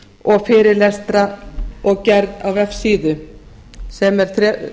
og fyrirlestra og gerð á vefsíðu sem er